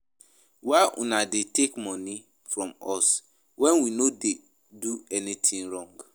Why una dey take money from us wen we no do anything wrong